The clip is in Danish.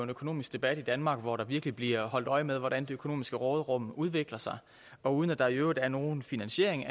økonomisk debat i danmark hvor der virkelig bliver holdt øje med hvordan det økonomiske råderum udvikler sig og uden at der i øvrigt er anvist nogen finansiering